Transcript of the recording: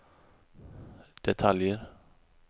detaljer